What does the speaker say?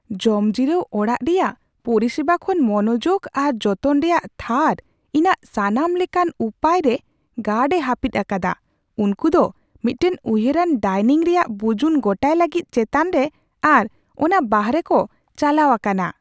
ᱡᱚᱢᱡᱤᱨᱟᱹᱣ ᱚᱲᱟᱜ ᱨᱮᱭᱟᱜ ᱯᱚᱨᱤᱥᱮᱵᱟ ᱠᱷᱚᱱ ᱢᱚᱱᱚᱡᱳᱜ ᱟᱨ ᱡᱚᱛᱚᱱ ᱨᱮᱭᱟᱜ ᱛᱷᱟᱨ ᱤᱧᱟᱹᱜ ᱥᱟᱱᱟᱢ ᱞᱮᱠᱟᱱ ᱩᱯᱟᱹᱭ ᱨᱮ ᱜᱟᱨᱰ ᱮ ᱦᱟᱹᱯᱤᱫ ᱟᱠᱟᱫᱟ ; ᱩᱱᱠᱩᱫᱚ ᱢᱤᱫᱴᱟᱝ ᱩᱭᱦᱟᱹᱨᱟᱱ ᱰᱟᱭᱱᱤᱝ ᱨᱮᱭᱟᱜ ᱵᱩᱡᱩᱱ ᱜᱚᱴᱟᱭ ᱞᱟᱹᱜᱤᱫ ᱪᱮᱛᱟᱱ ᱨᱮ ᱟᱨ ᱚᱱᱟ ᱵᱟᱦᱚᱨᱮᱠᱚ ᱪᱟᱞᱟᱣ ᱟᱠᱟᱱᱟ ᱾